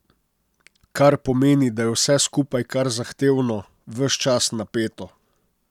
Kar pomeni, da je vse skupaj kar zahtevno, ves čas napeto.